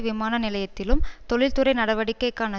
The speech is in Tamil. விமான நிலையத்திலும் தொழில்துறை நடவடிக்கைக்கான